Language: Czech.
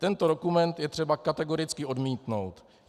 Tento dokument je třeba kategoricky odmítnout.